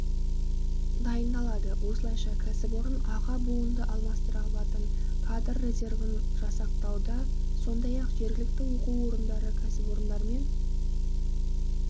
дайындалады осылайша кәсіпорын аға буынды алмастыра алатын кадр резервін жасақтауда сондай-ақ жергілікті оқу орындары кәсіпорындармен